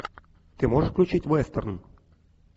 ты можешь включить вестерн